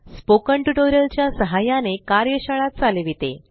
spoken tutorial च्या सहाय्याने कार्यशाळा चालविते